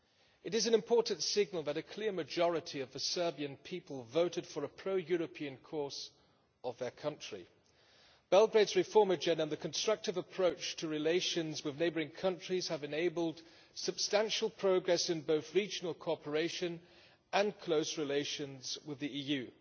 It is an important signal that a clear majority of the Serbian people voted for a pro European course of their country. Belgrade's reform agenda and the constructive approach to relations with neighbouring countries have enabled substantial progress in both regional cooperation and close relations with the EU.